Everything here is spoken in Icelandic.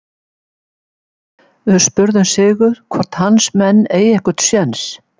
Við spurðum Sigurð hvort hans menn eigi einhvern séns?